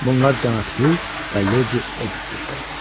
Bunlar cənab Hugh və Lady Edith idi.